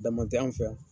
Dama tɛ anw fɛ yan